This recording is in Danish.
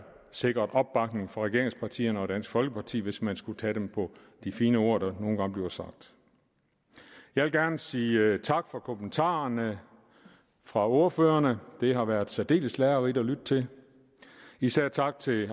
sikret opbakning fra regeringspartierne og dansk folkeparti hvis man skulle tage dem på de fine ord der nogle gange bliver sagt jeg vil gerne sige tak for kommentarerne fra ordførerne det har været særdeles lærerigt at lytte til især tak til